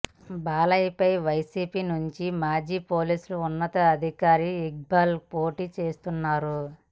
బాలయ్యపై వైసీపీ నుంచి మాజీ పోలీసు ఉన్నతాధికారి ఇక్బాల్ పోటీ చేస్తున్నారు